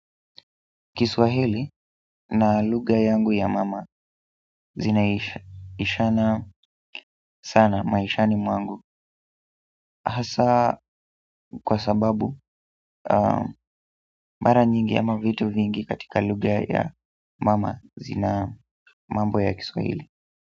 Kiswahili na lugha yangu ya mama zinaishana sana maishani mwangu hasa kwa sababu mara nyingi ama vitu vingi katika lugha ya mama zina mambo ya Kiswahili.